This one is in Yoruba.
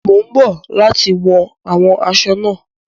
Mo ń bọ̀ láti wọn àwọn asọ náà.